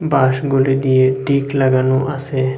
বাসগুলি দিয়ে টিক লাগানো আসে ।